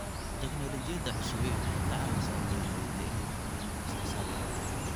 Tignoolajiyada cusubi waxay ka caawisaa beeralayda inay kordhiyaan wax soo saarka.